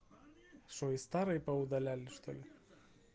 что и старые поудаляли что ли